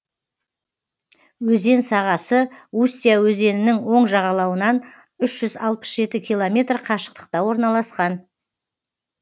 өзен сағасы устья өзенінің оң жағалауынан үш жүз алпыс жеті километр қашықтықта орналасқан